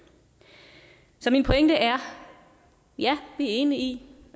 så min pointe er ja vi er enige i